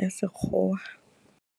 ya Sekgowa.